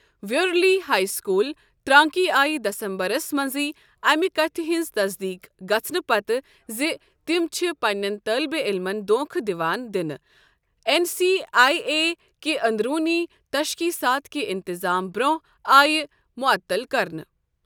Waverley high school, Taranaki آیہِ دسمبرس منٛزٕے امہِ کتھِ ہٕنٛزِ تصدیق گژھنہٕ پتہٕ زِ تِم چھِ پننٮ۪ن طٲلبِ علمن دھوکہٕ دِوان دِنہٕ، این سی ای اے کہِ اندرونی تشخیصات کہِ انتظام برۅنٛہہ آیہِ معطل کرنہٕ ۔